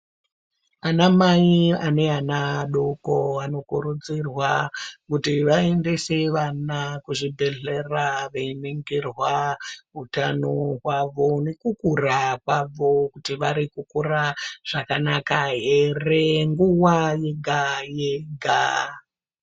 Anamai ane ana adoko anokurudzirwa kuti vaendese vana kuzvibhedhlera veiningirwa utano hwavo nekukura kwavo, kuti varikukura zvakanaka here, nguva yega-yega.